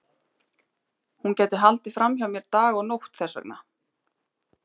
Hún gæti haldið fram hjá mér dag og nótt þess vegna.